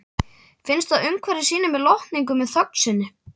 Finnst að umhverfið sýni mér lotningu með þögn sinni.